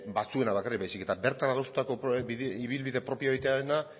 batzuena bakarrik baizik eta bertan adostutako ibilbide propioa egitearena